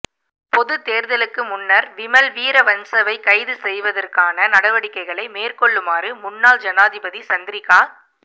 பொதுத் தேர்தலுக்கு முன்னர் விமல் வீரவன்சவை கைது செய்வதற்கான நடவடிக்கைகளை மேற்கொள்ளுமாறு முன்னாள் ஜனாதிபதி சந்திரிக்கா